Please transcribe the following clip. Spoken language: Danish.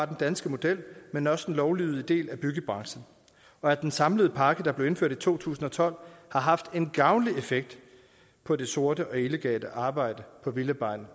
den danske model men også den lovlydige del af af byggebranchen og at den samlede pakke der blev indført i to tusind og tolv har haft en gavnlig effekt på det sorte og illegale arbejde på villavejene